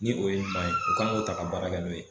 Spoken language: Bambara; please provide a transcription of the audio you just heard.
Ni o ye ɲuman ye o k kan k'o ta ka baara kɛ n'o ye